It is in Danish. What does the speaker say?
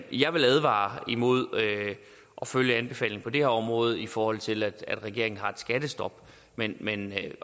jeg vil advare imod at følge anbefalingen på det her område i forhold til at regeringen har et skattestop men men at